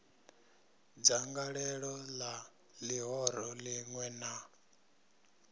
dzangalelo la lihoro linwe na